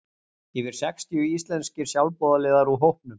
Yfir sextíu íslenskir sjálfboðaliðar úr hópum